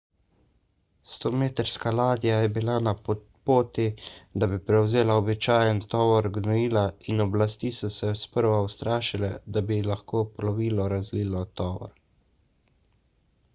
100-metrska ladja je bila na poti da bi prevzela običajen tovor gnojila in oblasti so se sprva ustrašile da bi lahko plovilo razlilo tovor